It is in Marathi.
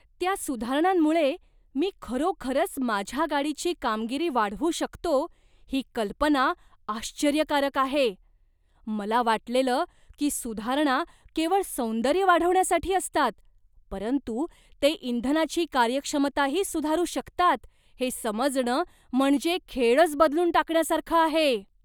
त्या सुधारणांमुळे मी खरोखरच माझ्या गाडीची कामगिरी वाढवू शकतो ही कल्पना आश्चर्यकारक आहे. मला वाटलेलं की सुधारणा केवळ सौंदर्य वाढवण्यासाठी असतात, परंतु ते इंधनाची कार्यक्षमताही सुधारू शकतात हे समजणं म्हणजे खेळच बदलून टाकण्यासारखं आहे.